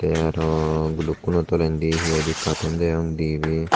te arow gulukkono tolendi hi hoide kattun degong dibey.